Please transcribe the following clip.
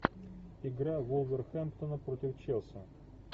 игра вулверхэмптона против челси